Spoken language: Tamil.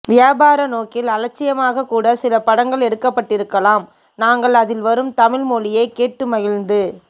வியாபார நோக்கில் அலட்சியமாகக் கூட சில படங்கள் எடுக்கப்பட்டிருக்கலாம் நாங்கள் அதில் வரும் தமிழ் மொழியைக் கேட்டுமகிழ்ந்து